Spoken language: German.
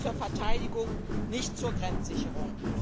Nicht zur Verteidigung, nicht zur Grenzsicherung.